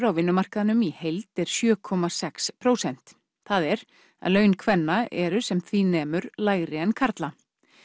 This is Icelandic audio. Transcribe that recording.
á vinnumarkaðnum í heild er sjö komma sex prósent það er að laun kvenna eru sem því nemur lægri en karla